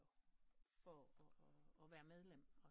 For at være medlem og sådan noget